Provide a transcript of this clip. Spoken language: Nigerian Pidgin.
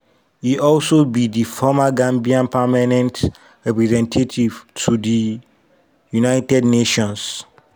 e also be di former gambian permanent representative to di united nations.